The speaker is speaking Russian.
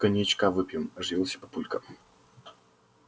коньячка выпьем оживился папулька